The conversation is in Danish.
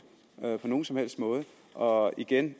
at gøre på nogen som helst måde og igen